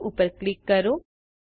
save ઉપર click કરો